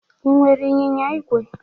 Ị nwere ịnyịnya igwe?